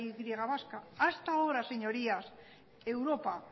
y vasca hasta ahora señorías europa